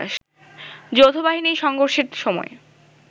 যৌথবাহিনীর সংঘর্ষের সময়